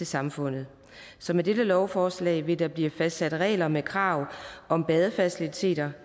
samfund så med dette lovforslag vil der blive fastsat regler med krav om badefaciliteter